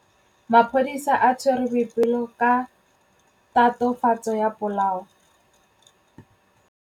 Maphodisa a tshwere Boipelo ka tatofatsô ya polaô.